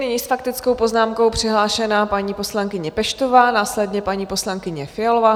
Nyní s faktickou poznámkou přihlášená paní poslankyně Peštová, následně paní poslankyně Fialová.